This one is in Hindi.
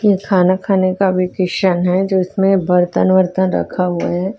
ये खाना खाने का वेकेशन है जो इसमें बर्तन वर्तन रखा हुआ है।